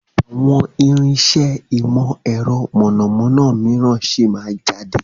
Àwọn irinsẹ́ ìmọ̀ ẹ̀rọ mọ̀nàmọ́ná míràn sì máa jáde